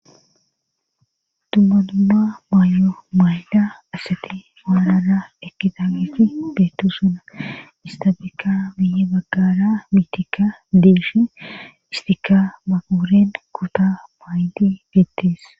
Dummatumma maayo mayla asati maalara ekitagethi beettu suna istabikka miye baggara mitika deeshi istika maguren kuta maayli geettees.